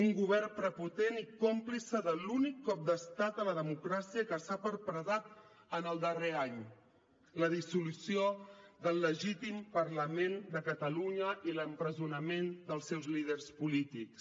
un govern prepotent i còmplice de l’únic cop d’estat a la democràcia que s’ha perpetrat en el darrer any la dissolució del legítim parlament de catalunya i l’empresonament dels seus líders polítics